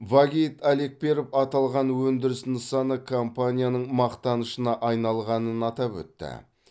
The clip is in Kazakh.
вагит алекперов аталған өндіріс нысаны компанияның мақтанышына айналғанын атап өтті